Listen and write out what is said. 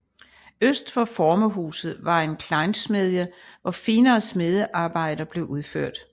Øst for formerhuset var en kleinsmedie hvor finere smediearbejder blev udført